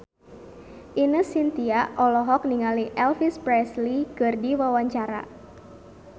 Ine Shintya olohok ningali Elvis Presley keur diwawancara